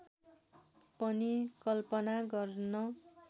पनि कल्पना गर्न